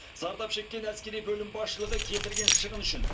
зардап шеккен әскери бөлім басшылығы келтірген шығын үшін